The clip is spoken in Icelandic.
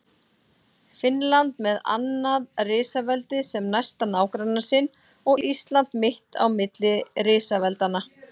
Finnland með annað risaveldið sem næsta nágranna sinn og Ísland mitt á milli risaveldanna.